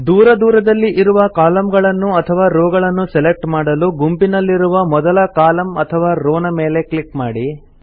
ದೂರ ದೂರದಲ್ಲಿ ಇರುವ ಕಾಲಮ್ ಗಳನ್ನು ಅಥವಾ ರೋ ಗಳನ್ನು ಸೆಲೆಕ್ಟ್ ಮಾಡಲು ಗುಂಪಿನಲ್ಲಿರುವ ಮೊದಲ ಕಾಲಮ್ ಅಥವಾ ರೋ ನ ಮೇಲೆ ಕ್ಲಿಕ್ ಮಾಡಿ